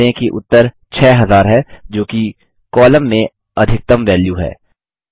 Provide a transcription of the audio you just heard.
ध्यान दें कि उत्तर 6000 है जोकि कॉलम में अधिकतम वैल्यू है